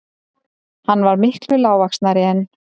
Hann var miklu lágvaxnari en